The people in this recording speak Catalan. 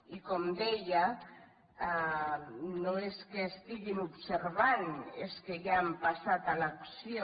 i com deia no és que estiguin observant és que ja han passat a l’acció